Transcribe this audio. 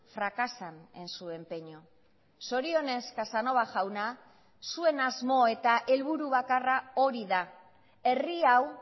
fracasan en su empeño zorionez casanova jauna zuen asmo eta helburu bakarra hori da herri hau